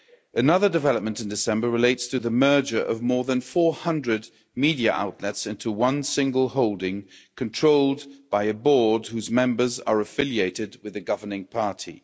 Another development in December relates to the merger of more than 400 media outlets into one single holding controlled by a board whose members are affiliated with the governing party.